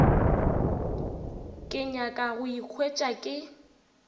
ke nyaka go ikhwetša ke